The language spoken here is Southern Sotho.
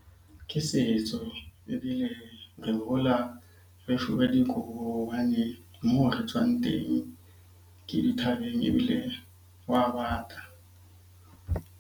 Ke setso ebile re hola re dikobo hobane moo re tswang teng ke di thabeng, ebile hwa bata.